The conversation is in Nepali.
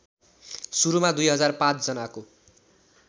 सुरुमा २००५ जनाको